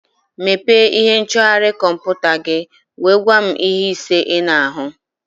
Mepee ihe nchọgharị kọmputa gị nwee gwa m ihe ise ị na-ahụ